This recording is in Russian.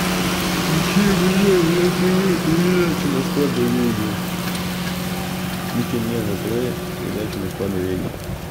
включи мне на тв передачу москва доверие включи мне на тв передачу москва доверие